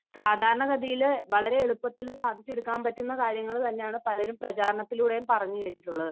സാധാരണഗതിയിൽ വളരെ എളുപ്പത്തിൽ സാധിച്ചെടുക്കാൻ പറ്റുന്ന കാര്യങ്ങൾ തന്നെയാണ് പലരും പ്രചാരണത്തിലൂടെയും പറഞ്ഞു കേട്ടിട്ടുള്ളത്.